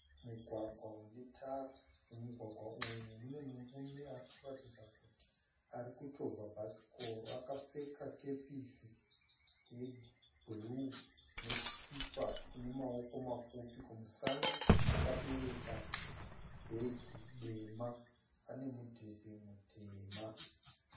Mugwagwa une tara mumugwagwa uyu mune murume arikuratidza kuti arikuchovha bhasikoro. Akapfeka kepisi ye bhuruu nesikipa ine maoko mapfupi kumusana akabereka bhegi dema ane mudhebhe mutema.